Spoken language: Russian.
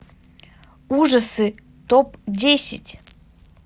ужасы топ десять